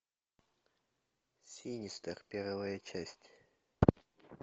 синистер первая часть